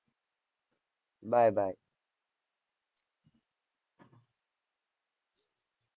bye bye